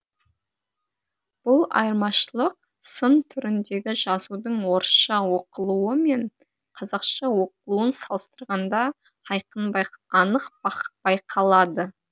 бұл айырмашылық сын түріндегі жазудың орысша оқылуы мен қазақша оқылуын салыстырғанда анық байқалады